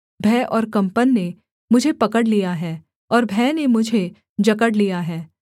भय और कंपन ने मुझे पकड़ लिया है और भय ने मुझे जकड़ लिया है